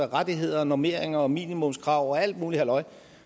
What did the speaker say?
rettigheder normeringer og minimumskrav og alt muligt halløj